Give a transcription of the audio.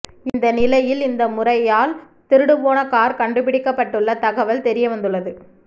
இந்த நிலையில் இந்த முறையால் திருடுபோன கார் கண்டுபிடிக்கப்பட்டுள்ள தகவல் தெரியவந்துள்ளது